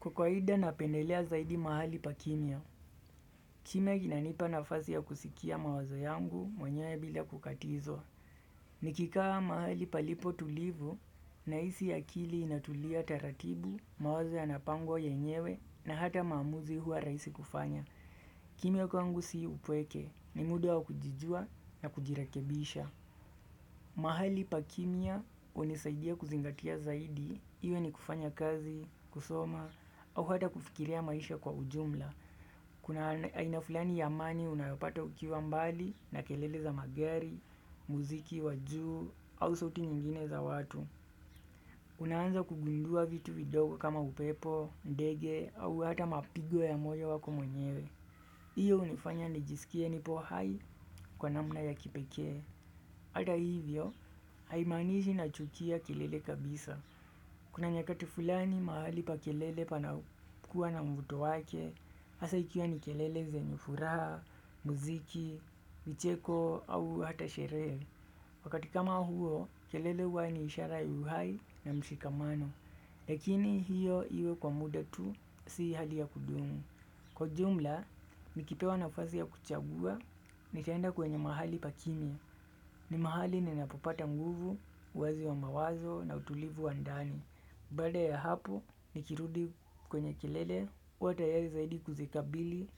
Kwa kwaida napendelea zaidi mahali pa kimya, kimya kinanipa nafasi ya kusikia mawazo yangu mwenyewe bila kukatizwa. Nikikaa mahali palipo tulivu, na hisi akili inatulia taratibu, mawazo ya napango ya nyewe na hata maamuzi huwa raisi kufanya. Kimya kwangu si upweke, ni muda wa kujijua na kujirakebisha. Mahali pakimya hunisaidia kuzingatia zaidi Iwe ni kufanya kazi, kusoma au hata kufikiria maisha kwa ujumla Kuna haina fulani ya amani unayopata ukiwa mbali na kelele za magari, muziki, wajuu au suti nyingine za watu Unaanza kugundua vitu vidogo kama upepo, ndege au hata mapigo ya moyo wako mwenyewe iyo hunifanya nijisikie nipo hai kwa namna ya kipekee Ata hivyo, haimanishi na chukia kelele kabisa. Kuna nyakati fulani mahali pa kelele panakuwa na mvuto wake, hasa ikiwa ni kelele zenye furaha, muziki, vicheko au hata sheree. Wakati kama huo, kelele huwa ni ishara yu hai na mshikamano. Lakini hiyo iwe kwa muda tu, si hali ya kudumu. Kwa jumla, nikipewa na fasi ya kuchagua, nitaenda kwenye mahali pakimya. Ni mahali ninapopata nguvu, wazi wa mawazo na utulivu wa ndani. Baaa ya hapo, nikirudi kwenye kilele, huw atayari zaidi kuzikabili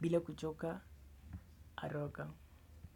bila kuchoka haraka.